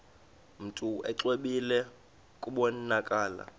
mntu exwebile kubonakala